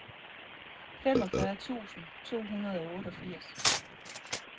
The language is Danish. femogfyrre tusind to hundrede og otteogfirs